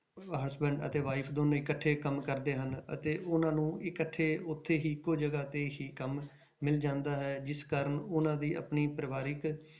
Husband ਅਤੇ wife ਦੋਨੇ ਇਕੱਠੇ ਕੰਮ ਕਰਦੇ ਹਨ ਅਤੇ ਉਹਨਾਂ ਨੂੰ ਇਕੱਠੇ ਉੱਥੇ ਹੀ ਇੱਕੋ ਜਗ੍ਹਾ ਤੇ ਹੀ ਕੰਮ ਮਿਲ ਜਾਂਦਾ ਹੈ, ਜਿਸ ਕਾਰਨ ਉਹਨਾਂ ਦੀ ਆਪਣੀ ਪਰਿਵਾਰਕ